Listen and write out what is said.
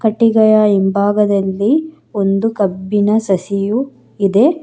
ಕಟ್ಟಿಗೆಯ ಇಂಭಾಗದಲ್ಲಿ ಒಂದು ಕಬ್ಬಿನ ಸಸಿಯು ಇದೆ.